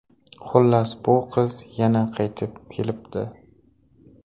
Xullas bu qiz yana qaytib kelibdi.